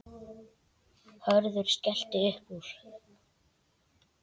Hörður skellti upp úr.